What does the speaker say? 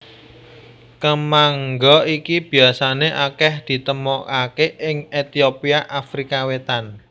Kemangga iki biasané akèh ditemokaké ing Etiopia Afrika Wétan